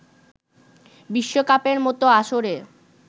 বিশ্বকাপের মতো আসরে